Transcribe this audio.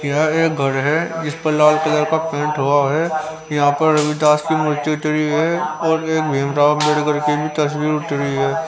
यहां एक घर है जिस पर लाल कलर का पेंट हुआ है यहां पर रविदास की मूर्ति उतरी है और एक भीमराव की भी तस्वीर उतरी है.